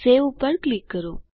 save ઉપર click કરો